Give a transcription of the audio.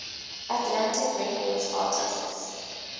atlantic records artists